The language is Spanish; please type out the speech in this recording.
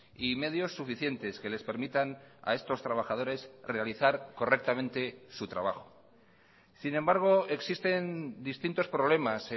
y medios suficientes que les permitan a estos trabajadores realizar correctamente su trabajo sin embargo existen distintos problemas